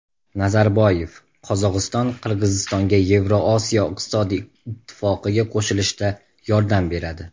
Nazarboyev: Qozog‘iston Qirg‘izistonga Yevrosiyo iqtisodiy ittifoqiga qo‘shilishda yordam beradi.